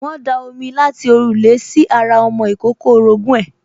wọ́n da omi láti òrùlé sí ara ọmọ ìkókó orogún ẹ̀